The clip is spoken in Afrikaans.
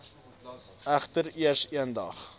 egter eers eendag